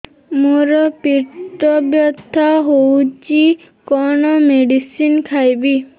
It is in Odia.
ମୋର ପେଟ ବ୍ୟଥା ହଉଚି କଣ ମେଡିସିନ ଖାଇବି